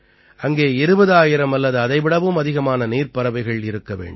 அங்கே 20000 அல்லது அதைவிடவும் அதிகமான நீர்ப் பறவைகள் இருக்க வேண்டும்